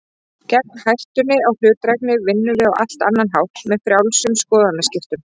Gegn hættunni á hlutdrægni vinnum við á allt annan hátt, með frjálsum skoðanaskiptum.